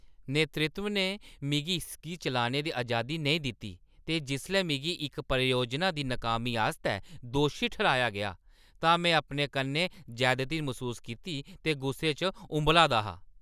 नेतृत्व ने मिगी इसगी चलाने दी अजादी नेईं दित्ती ते जिसलै मिगी इक परियोजना दी नाकामी आस्तै दोशी ठर्‌हाया गेआ तां में अपने कन्नै जैदती मसूस कीती ते गुस्से च उब्बला दा हा।